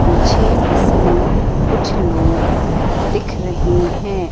मुझे इसमें कुछ लोग दिख रहें हैं।